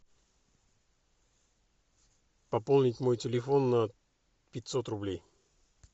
пополнить мой телефон на пятьсот рублей